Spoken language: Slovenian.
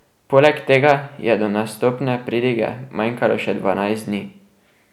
Poleg tega je do nastopne pridige manjkalo še dvanajst dni.